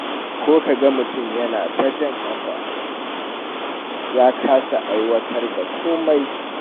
Ko ka ga mutum yana ta jan-ƙafa ya kasa aiwatar da komai.